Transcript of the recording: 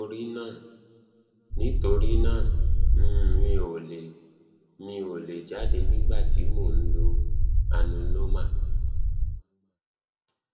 nítorí náà mi um ò lè jáde nígbà tí mo bá ń lo anuloma